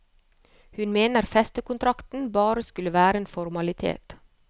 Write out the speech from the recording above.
Hun mener festekontrakten bare skulle være en formalitet.